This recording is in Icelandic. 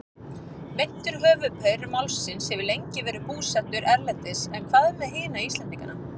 Meintur höfuðpaur málsins hefur lengi verið búsettur erlendis en hvað með hina Íslendingana?